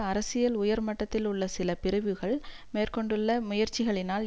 அரசியல் உயர் மட்டத்தில் உள்ள சில பிரிவுகள் மேற்கொண்டுள்ள முயற்சிகளினால்